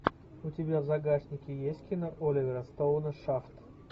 у тебя в загашнике есть кино оливера стоуна шафт